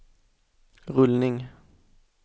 rullning